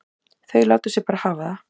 Þau láta sig bara hafa það.